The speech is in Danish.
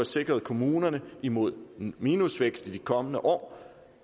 sikret kommunerne imod minusvækst i de kommende år